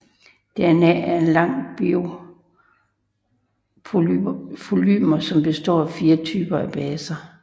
DNA er en lang biopolymer som består af fire typer af baser